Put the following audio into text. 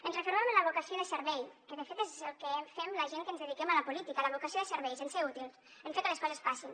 ens refermem en la vocació de servei que de fet és el que fem la gent que ens dediquem a la política en ser útils en fer que les coses passin